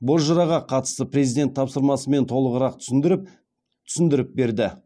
бозжыраға қатысты президент тапсырмасын толығырақ түсіндіріп берді